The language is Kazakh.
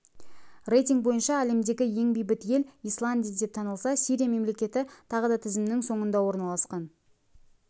рейтинг бойынша әлемдегі ең бейбіт ел исландия деп танылса сирия мемлекеті тағы да тізімнің соңында орналасқан